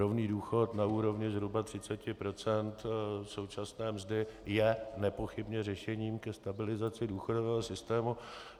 Rovný důchod na úrovni zhruba 30 % současné mzdy je nepochybně řešením ke stabilizaci důchodového systému.